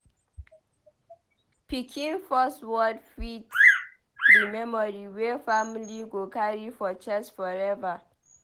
Pikin first word fit be memory wey family go carry for chest forever.